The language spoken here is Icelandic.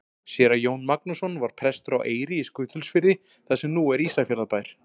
Séra Jón Magnússon var prestur á Eyri í Skutulsfirði þar sem nú er Ísafjarðarbær.